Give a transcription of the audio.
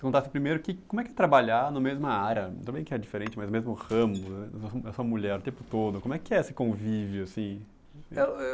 Contasse primeiro, que, como é que é trabalhar na mesma área, tudo bem que é diferente, mas mesmo ramo, né, a sua mulher o tempo todo, como é que é esse convívio assim? Eu, eu